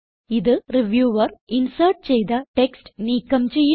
ഇത് reviewer insert ചെയ്ത text നീക്കം ചെയ്യുന്നു